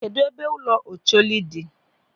Kedụ ebe ụlọ Ocholi dị?